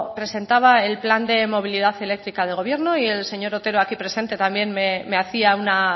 presentaba el plan de movilidad eléctrica del gobierno y el señor otero aquí presente también me hacía una